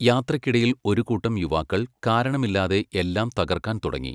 യാത്രയ്ക്കിടയിൽ ഒരു കൂട്ടം യുവാക്കൾ കാരണമില്ലാതെ എല്ലാം തകർക്കാൻ തുടങ്ങി.